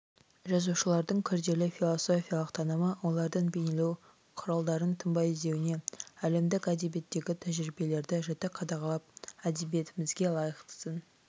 жазушылардың күрделі философиялық танымы олардың бейнелеу құралдарын тынбай ізденуіне әлемдік әдебиеттегі тәжірибелерді жіті қадағалап әдебиетімізге лайықтысын